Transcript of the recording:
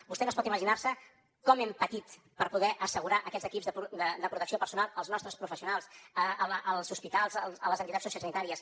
vostè no es pot imaginar com hem patit per poder assegurar aquests equips de protecció personal als nostres professionals als hospitals a les entitats sociosanitàries